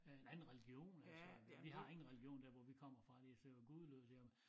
Øh en anden religion altså vi har ingen religion der hvor vi kommer fra det så gudeløst jamen